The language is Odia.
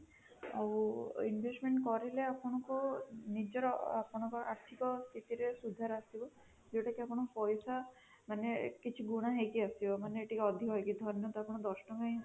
ଆଉ investment କରିଲେ ଆପଣଙ୍କୁ ନିଜର ଆପଣଙ୍କର ଆର୍ଥିକ ସ୍ଥିତିରେ ସୁଧାର ଆସିବ, ଯୋଉଟାକି ଆପଣ ପଇସା ମାନେ କିଛି ଗୁଣ ହେଇକି ଆସିବ ମାନେ ଅଧିକ ହେଇକି ମାନେ ଧରିନିୟନ୍ତୁ ଆପଣ ଦଶ ତାଙ୍କ ହିଁ